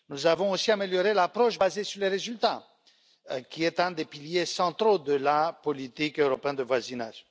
Nous avons aussi amélioré l'approche basée sur les résultats, qui est l'un des piliers centraux de la politique européenne de voisinage.